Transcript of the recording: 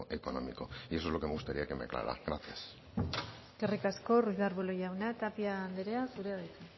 económico y eso es lo que me gustaría que me aclarara gracias eskerrik asko ruiz de arbulo jauna tapia andrea zurea da hitza